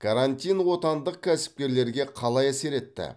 карантин отандық кәсіпкерлерге қалай әсер етті